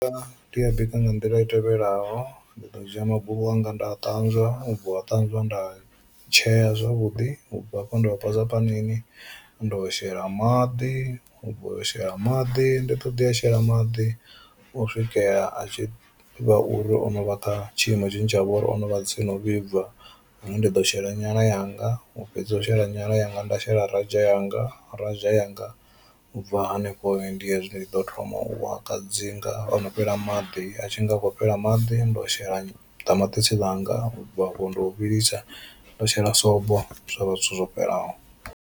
Ndi a bika nga nḓila i tevhelaho ndi ḓo dzhia magulu anga nda a ṱanzwa ṱanzwa nda tsheya zwavhuḓi ubva hafho nda a posa panini nda shela maḓi ubva u shela maḓi ndi ḓoḓi a shela maḓi u swikela a tshi vha uri ono vha kha tshiimo tshine tsha vha uri o no vha tsini u vhibva, hune ndi ḓo shela nyala yanga u fhedza u shela nyala yanga nda shela raja yanga raja yanga. U bva hanefho ndi hezwi ndi ḓo thoma u a kadzinga ono fhela maḓi a tshi nga khou fhela maḓi nda shela ṱamaṱisi ḽanga, u bva afho ndi u vhilisa nda shela sobo zwa vha zwithu zwo fhelelaho.